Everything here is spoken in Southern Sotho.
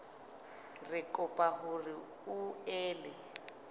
re kopa hore o ele